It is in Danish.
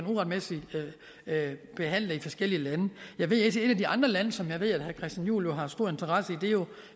uretmæssigt behandlet i forskellige lande et af de andre lande som jeg ved herre christian juhl jo har stor interesse